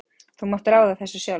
Þú mátt ráða þessu sjálfur.